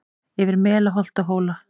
Yfir mela holt og hóla